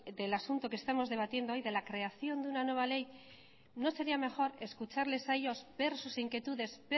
del asunto que hoy estamos debatiendo de la creación de una nueva ley no sería mejor escucharles a ellos ver sus inquietudes